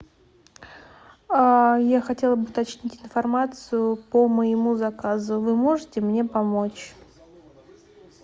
я хотела бы уточнить информацию по моему заказу вы можете мне помочь